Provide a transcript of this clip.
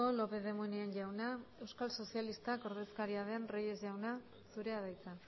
lópez de munain jauna eusko sozialistak taldearen ordezkaria den reyes jauna zurea da hitza